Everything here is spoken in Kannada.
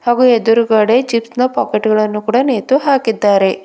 ಹಾಗು ಎದುರುಗಡೆ ಚಿಪ್ಸ್ನ ಪಾಕೆಟ್ಗಳನ್ನು ಕೂಡ ನೇತುಹಾಕಿದ್ದಾರೆ.